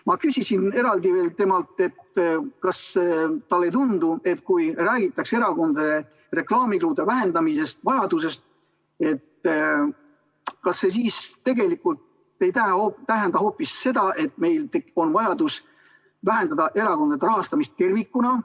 Ma küsisin veel eraldi temalt, kas talle ei tundu, et kui räägitakse erakondade reklaamikulude vähendamise vajadusest, siis tegelikult tähendab see hoopis seda, et meil on vajadus vähendada erakondade rahastamist tervikuna.